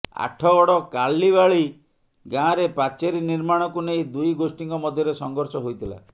ଆଠଗଡ଼ କାଲିବାଳି ଗାଁରେ ପାଚେରୀ ନିର୍ମାଣକୁ ନେଇ ଦୁଇ ଗୋଷ୍ଠୀଙ୍କ ମଧ୍ୟରେ ସଂଘର୍ଷ ହୋଇଥିଲା